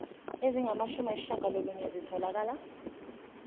ezingamashumi ayishiyagalolunye zitholakele